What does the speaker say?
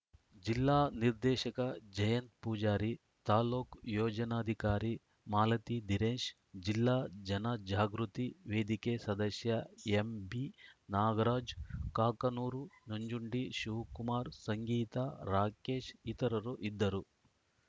ಜಿಲ್ಲಾ ನಿರ್ದೆಶಕ ಜಯಂತ್‌ ಪೂಜಾರಿ ತಾಲೂಕು ಯೋಜನಧಿಕಾರಿ ಮಾಲತಿದಿನೇಶ್‌ ಜಿಲ್ಲಾ ಜನಜಾಗೃತಿ ವೇದಿಕೆ ಸದಸ್ಯ ಎಂಬಿ ನಾಗರಾಜ್‌ ಕಾಕನೂರು ನಂಜುಂಡಿ ಶಿವಕುಮಾರ್‌ ಸಂಗೀತಾ ರಾಕೆಶ್‌ ಇತರರು ಇದ್ದರು